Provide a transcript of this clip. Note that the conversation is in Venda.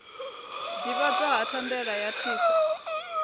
ḓivhadzwa ha thandela ya tissa